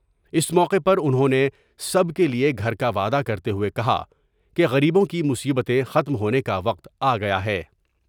اس موقع پر انھوں نے سب کے لئے گھر کا وعدہ کرتے ہوۓ کہا کہ غریبوں کی مصیبتیں ختم ہونے کا وقت آ گیا ہے ۔